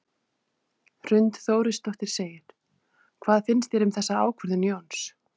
Hrund Þórsdóttir: Hvað finnst þér um þessa ákvörðun Jóns?